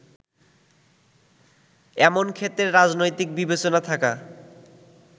এমন ক্ষেত্রে রাজনৈতিক বিবেচনা থাকা